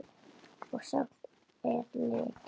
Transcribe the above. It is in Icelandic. Og samt er leki.